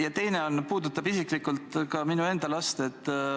Ja teine küsimus puudutab isiklikult ka minu enda last.